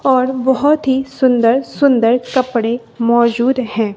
और बहुत ही सुंदर सुंदर कपड़े मौजूद हैं।